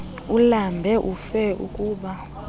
ulambe ufe ukba